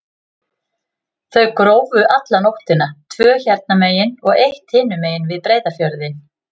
Þau grófu alla nóttina, tvö hérna megin og eitt hinum megin, við Breiðafjörðinn.